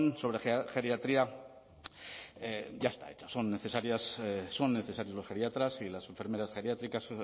sobre geriatría ya está hecha son necesarios los geriatras y las enfermeras geriátricas